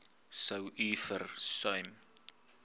sou u versuim